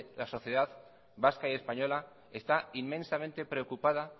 la sociedad vasca y española está inmensamente preocupada